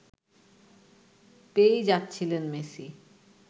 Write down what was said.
পেয়েই যাচ্ছিলেন মেসি